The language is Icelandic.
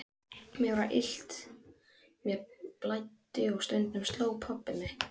Mér var illt, mér blæddi og stundum sló pabbi mig.